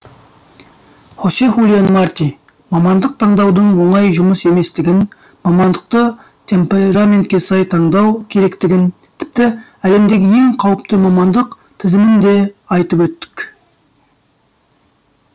хосе хулиан марти мамандық таңдаудың оңай жұмыс еместігін мамандықты темпераментке сай таңдау керектігін тіпті әлемдегі ең қауіпті мамандық тізімін де айтып өттік